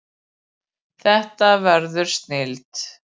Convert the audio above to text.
Þetta verður snilld